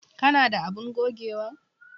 Ka na da abun gogewa?